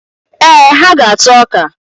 Ee, ha ga-ata ọka.